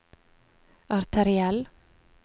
arteriell